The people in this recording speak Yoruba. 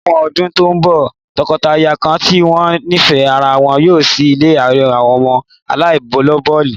Láwọn ọdún tó ń bọ̀, tọkọtaya kan tí wọ́n nífẹ̀ẹ́ ara wọn yóò ṣí ilé àwọn ọmọ aláìlóbìí